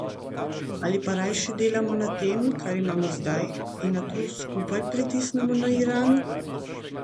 Ali pa rajši delamo na tem, kar imamo zdaj in nato skupaj pritisnemo na Iran?